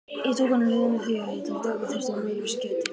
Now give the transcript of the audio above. Ég tók hann út úr liðinu því að ég taldi að við þyrftum öðruvísi gæði.